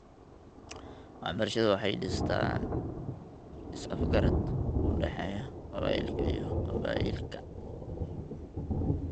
Waxbarashadu waxay dhistaa is afgarad u dhexeeya qabaa'ilka iyo qabaa'ilka .